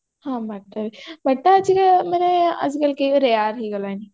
ହଁ BATA ବି BATA ଅଛି ମାନେ ଆଜିକାଲି rare ହେଇଗଲାଣି